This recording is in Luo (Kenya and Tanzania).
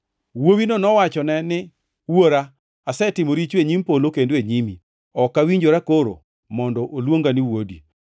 “Wuowino nowachone ni, ‘Wuora, asetimo richo e nyim polo kendo e nyimi. Ok awinjora koro mondo oluonga ni wuodi.’